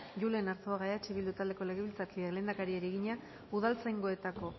julen arzuaga gumuzio eh bildu taldeko legebiltzarkideak lehendakariari egina udaltzaingoetako